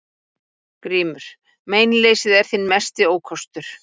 GRÍMUR: Meinleysið er þinn mesti ókostur.